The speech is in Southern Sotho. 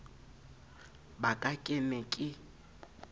ba ka ke ne ke